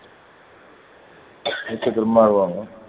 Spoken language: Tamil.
next திரும்ப அழுவாங்க